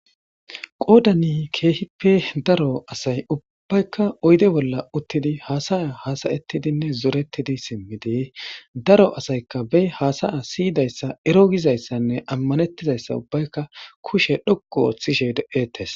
Qodan keehippe daro asay ubbayka oyde bolla utid hasa'a hada'etidinne zoretid simid be hasa'a siyidayasa ero gishenne amanetishe kushe dhoqu othishe de'etes.